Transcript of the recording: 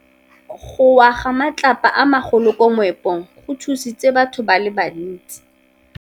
Go wa ga matlapa a magolo ko moepong go tshositse batho ba le bantsi.